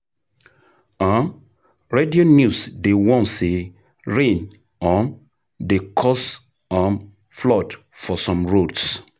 um Radio news dey warn say rain um don cause um flood for some roads.